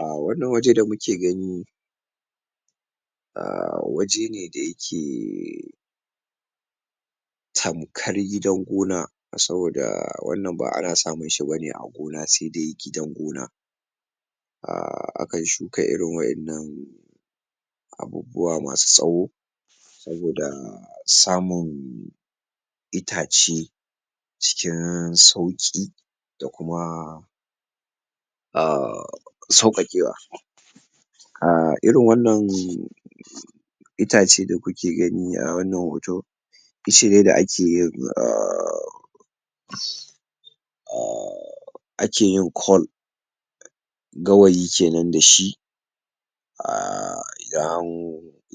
Ah wannan waje da muke gani ah waje ne da yake tamkar gidan gona saboda wannan ba ana samun shi bane a gona, sai dai gidan gona ah akan shuka irin waɗannan abubuwa masu tsawo saboda samun itace cikin sauƙi da kuma um sauƙaƙewa ah irin wannan itace da kuke gani a wannan hoto ice ne da ake yin ah ah[um] ake yin Cole Gawayi kenan da shi ah um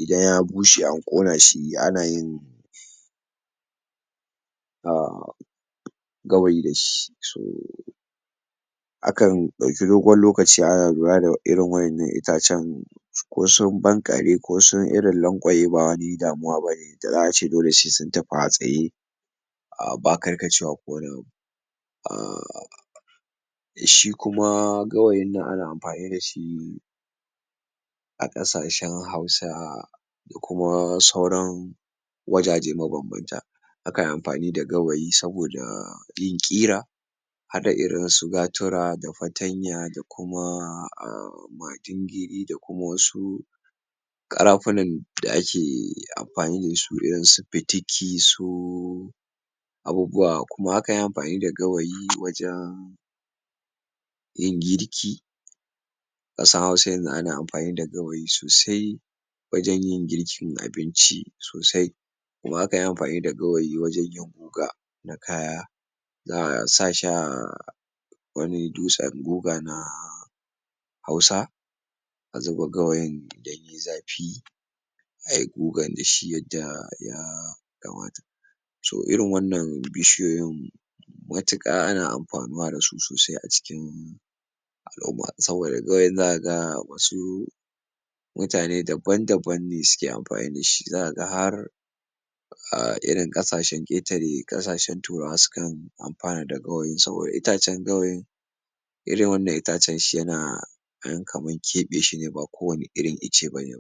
idan ya bushe an ƙona shi ana yin um Gawayi dashi so akan ɗauki dogon lokaci ana lura da irin wa'yannan itacen ko sun banƙare ko sun irin lankwaye ba wani damuwa bane, da za'a ce dole sai sun tafi a tsaye ba karkacewa ko wani abu ah[um] shi kuma gawayin nan ana amfani dashi a ƙasashen hausa da kuma sauran wajaje mabambanta akai amfani da gawayi saboda yin ƙira haɗa irin su gatura da fatanya da kuma ah majingiri da kuma wasu ƙarafi nan da ake amfani dasu irin su fitiki su abubuawa kuma akan yi amfani da gawayi wajan yin girki ƙasar hausa yanzu ana amfani da gawayi sosai wajan yin girkin abinci sosai kuma akan yi amfani da gawayi wajan yin goga na kaya za'a sa shi a wani dutsen goga na hausa a zuba gawayi idan yayi zafi ayi gogan dashi yadda yakamata to irin wannan bishiyoyin matuƙa ana amfanuwa dasu sosai a cikin al'umma saboda gawayin zaka ga wasu mutane daban daban ne suke amfani dashi zakaga har ah irin ƙasashen ƙetare, ƙasashen turawa sukan amfana da gawayi saboda itacen gawayin irin wannan itacen shi yana an kamar keɓe shine ba kowanne irin ice bane